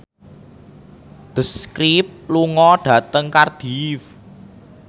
The Script lunga dhateng Cardiff